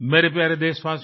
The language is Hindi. मेरे प्यारे देशवासियों